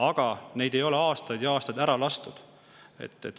Aga neid ei ole aastaid ja aastaid lastud.